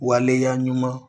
Waleya ɲuman